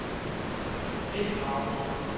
Mette Gravesen